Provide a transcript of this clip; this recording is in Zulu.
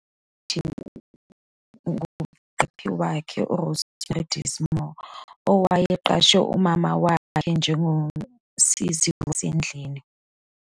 Waziswa ikhilikithi ngumqaphi wakhe uRosemary Dismore, owayeqashe umama wakhe njengosizi wasendlini.